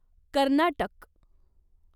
Karnataka